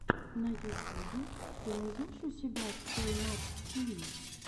на ютюбе ты найдешь у себя той мат ти ви